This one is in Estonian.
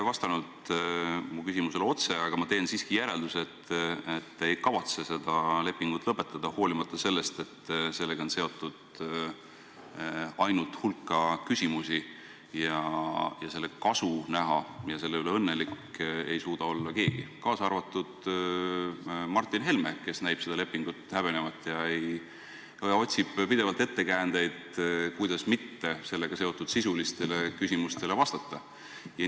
Paraku te mu küsimusele otseselt ei vastanud, aga ma teen siiski järelduse, et te ei kavatse seda lepingut lõpetada, hoolimata sellest, et sellega on seotud ainult hulk küsimusi ja selle kasu näha ja selle üle õnnelik olla ei suuda keegi, kaasa arvatud Martin Helme, kes näib seda lepingut häbenevat ja otsib pidevalt ettekäändeid, kuidas sellega seotud sisulistele küsimustele mitte vastata.